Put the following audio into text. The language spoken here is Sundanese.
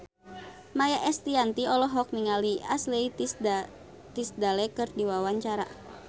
Maia Estianty olohok ningali Ashley Tisdale keur diwawancara